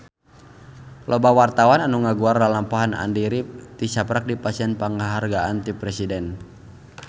Loba wartawan anu ngaguar lalampahan Andy rif tisaprak dipasihan panghargaan ti Presiden